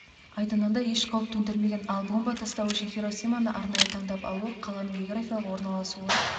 айдынында еш қауіп төндірмеген ал бомба тастау үшін хиросиманы арнайы таңдап алуы қаланың географиялық орналасуы